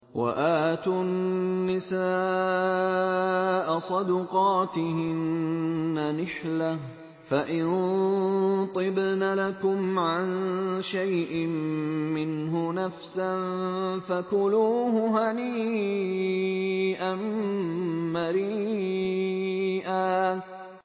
وَآتُوا النِّسَاءَ صَدُقَاتِهِنَّ نِحْلَةً ۚ فَإِن طِبْنَ لَكُمْ عَن شَيْءٍ مِّنْهُ نَفْسًا فَكُلُوهُ هَنِيئًا مَّرِيئًا